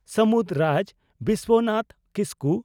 ᱥᱟᱹᱢᱩᱫᱽ ᱨᱟᱡᱽ (ᱵᱤᱥᱣᱚᱱᱟᱛᱷ ᱠᱤᱥᱠᱩ)